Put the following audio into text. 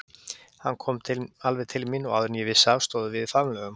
Hann kom alveg til mín og áður en ég vissi stóðum við í faðmlögum.